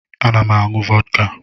M na-aṅụ vọdka.